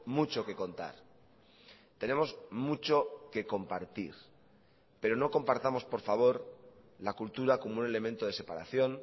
mucho que contar tenemos mucho que compartir pero no compartamos por favor la cultura como un elemento de separación